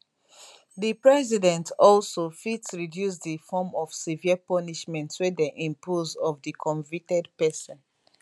di president also fit reduce di form of severe punishment wey dem impose of di convicted pesin